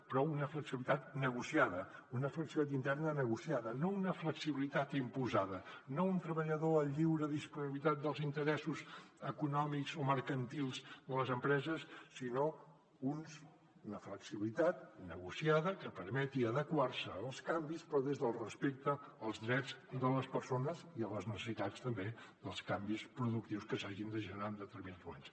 però una flexibilitat negociada una flexibilitat interna negociada no una flexibilitat imposada no un treballador a lliure disponibilitat dels interessos econòmics o mercantils de les empreses sinó una flexibilitat negociada que permeti adequar se als canvis però des del respecte als drets de les persones i a les necessitats també dels canvis productius que s’hagin de generar en determinats moments